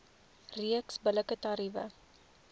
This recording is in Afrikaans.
reeks billike tariewe